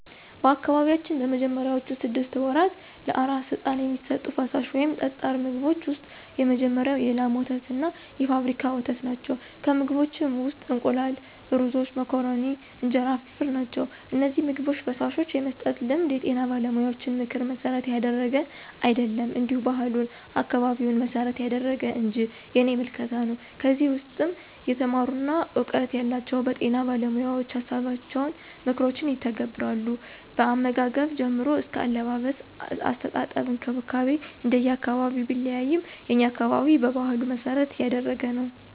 በአካባቢያችን በመጀመሪያዎቹ ስድስት ወራት ለአራስ ሕፃን የሚሰጡት ፈሳሽ ወይም ጠጣር ምግቦች ውስጥ የመጀመሪያው የላም ወተትና የፋብሪካ ወተት ናቸው፣ ከምግቦችም ውስጥ እንቁላል፣ ሩዞች፣ መኮረኒ፣ እንጀራ ፍርፍር ናቸው። እነዚህን ምግቦች/ፈሳሾች የመስጠት ልማድ የጤና ባለሙያዎችን ምክር መሠረት ያደረገ አይደለም እንዲሁ ባህሉን፣ አካባቢውን መሰረት ያደረገ እንጅ የኔ ምልከታ ነው። ከዚህ ውስም የተማሩና እውቀቱ ያላቸው በጤና ባለሞያዎችን ሀሳቦችንና ምክሮችን ይተገብራሉ። ከአመጋገብ ጀምሮ አስከ አለባበስ፣ አስተጣጠብ እንክብካቤ እንደየ አካባቢው ቢለያይም የኛ አካባቢ በባህሉ መሰረት ያደረገ ነው።